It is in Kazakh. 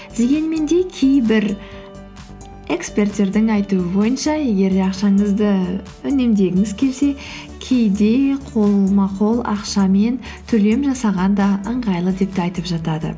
дегенмен де кейбір эксперттердің айтуы бойынша егер де ақшаңызды үнемдегіңіз келсе кейде қолма қол ақшамен төлем жасаған да ыңғайлы деп те айтып жатады